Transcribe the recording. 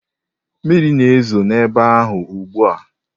Mmiri na-ezo n'ebe ahụ ugbu a?